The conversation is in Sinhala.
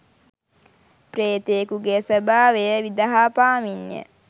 ප්‍රේතයකුගේ ස්වභාවය විදහා පාමින්ය.